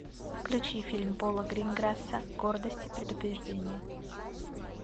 включи фильм пола гринграсса гордость и предубеждение